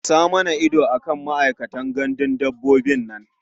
Sa mana ido a kan ma'aikatan gandun dabbobin nan.